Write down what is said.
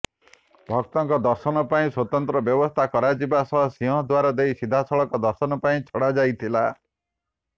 ଭକ୍ତଙ୍କ ଦର୍ଶନ ପାଇଁ ସ୍ବତନ୍ତ୍ର ବ୍ୟବସ୍ଥା କରାଯିବା ସହ ସିଂହଦ୍ବାର ଦେଇ ସିଧାସଳଖ ଦର୍ଶନ ପାଇଁ ଛଡ଼ାଯାଇଥିଲା